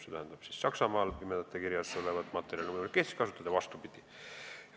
See tähendab, et Saksamaal toodetud pimedate kirjas olevat materjali on võimalik kasutada Eestis ja vastupidi.